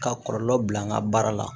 Ka kɔlɔlɔ bila n ka baara la